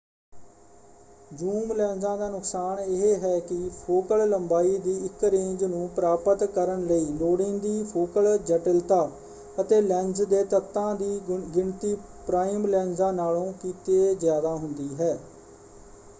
Zoom ਲੈਂਸਾਂ ਦਾ ਨੁਕਸਾਨ ਇਹ ਹੈ ਕਿ ਫੋਕਲ ਲੰਬਾਈ ਦੀ ਇੱਕ ਰੇਂਜ ਨੂੰ ਪ੍ਰਾਪਤ ਕਰਨ ਲਈ ਲੋੜੀਂਦੀ ਫੋਕਲ ਜਟਿਲਤਾ ਅਤੇ ਲੈਂਸ ਦੇ ਤੱਤਾਂ ਦੀ ਗਿਣਤੀ ਪ੍ਰਾਈਮ ਲੈਂਸਾਂ ਨਾਲੋਂ ਕਿਤੇ ਜ਼ਿਆਦਾ ਹੁੰਦੀ ਹੈ।